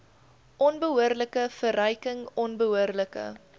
onbehoorlike verryking onbehoorlike